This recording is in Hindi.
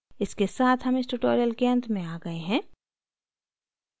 इसके साथ हम इस tutorial के अंत में आ गए हैं